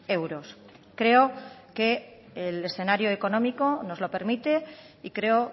euros creo que el escenario económico nos lo permite y creo